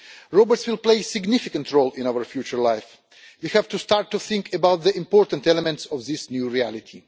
Robots will play a significant role in our future life, and we have to start to think about the important elements of this new reality.